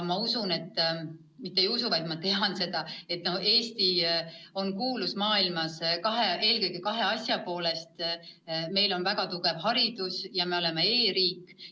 Ma usun – õigemini mitte ei usu, vaid tean seda –, et Eesti on maailmas kuulus eelkõige kahe asja poolest: meil on väga tugev haridus ja me oleme e-riik.